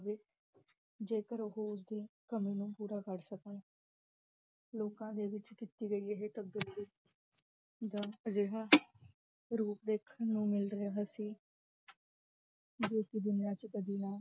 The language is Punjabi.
ਜੇਕਰ ਓਹ ਉਸ ਦੀ ਕਮੀ ਨੂੰ ਪੂਰਾ ਕਰ ਸਕਣ ਲੋਕਾਂ ਦੇ ਵਿਚ ਕੀਤੀ ਗਈ ਇਹ ਤਬਦੀਲੀ ਦਾ ਅਜਿਹਾ ਰੂਪ ਦੇਖਣ ਨੂੰ ਮਿਲ ਰਿਹਾ ਸੀ ਜਿਸਨੂੰ ਦੁਨੀਆਂ ਵਿਚ ਕਦੀ ਨਾ